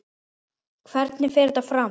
Hvernig fer þetta fram?